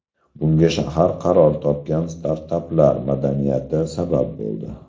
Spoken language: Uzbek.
Bunga shahar qaror topgan startaplar madaniyati sabab bo‘ldi.